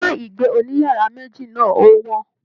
Ilé ìgbé òníyàrá méjì náà o wọn.